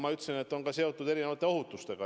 Ma ütlesin, et see on seotud ka erinevate ohutustega.